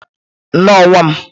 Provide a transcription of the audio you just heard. Nnọọ nwa m.